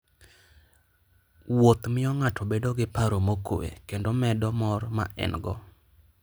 Wuotho miyo ng'ato bedo gi paro mokuwe kendo medo mor ma en-go.